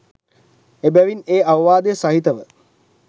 එබැවින් ඒ අවවාදය සහිතව